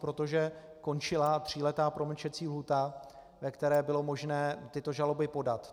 Protože končila tříletá promlčecí lhůta, ve které bylo možné tyto žaloby podat.